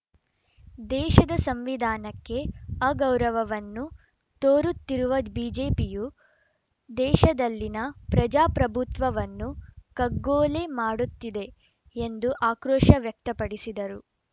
ದೇಶದ ಸಂವಿಧಾನಕ್ಕೆ ಅಗೌರವವನ್ನು ತೋರುತ್ತಿರುವ ಬಿಜೆಪಿಯು ದೇಶದಲ್ಲಿನ ಪ್ರಜಾಪ್ರಭುತ್ವವನ್ನು ಕಗ್ಗೊಲೆ ಮಾಡುತ್ತಿದೆ ಎಂದು ಆಕ್ರೋಶ ವ್ಯಕ್ತಪಡಿಸಿದರು